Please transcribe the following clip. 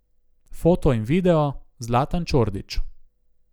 Foto in video: 'Zlatan Čordić.